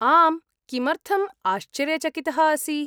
आम्, किमर्थम् आश्चर्यचकितः असि?